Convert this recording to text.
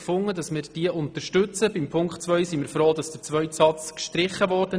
Bei Auflage 2 sind wir froh, dass der zweite Satz gestrichen wurde.